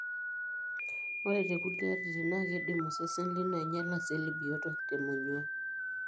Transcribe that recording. ore tekulie atitin, na kindim osesen lino ainyiala iseli biot temonyua.